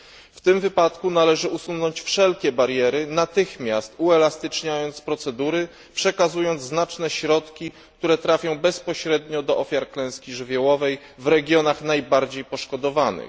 W tym wypadku należy usunąć wszelkie bariery, natychmiast uelastyczniając procedury, przekazując znaczne środki, które trafią bezpośrednio do ofiar klęski żywiołowej w regionach najbardziej poszkodowanych.